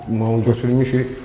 Mən onu götürmüşük.